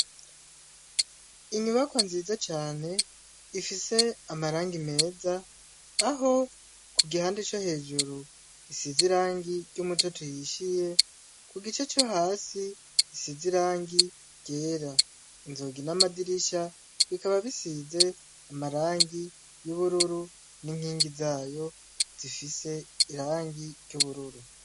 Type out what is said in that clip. Inyubakwa nziza cane, ifis'amarangi meza, aho kugihande co hejur'isiz'irangi ry'umutot'uhishiye, kugice co has'isiz'irangi ryera, inzugi n'amadirisha bikaba bisiz'amarangi y'ubururu n'inkingi zayo zisiz'irangi ry'ubururu.